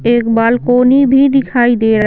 एक बालकोनी भी दिखाई दे र--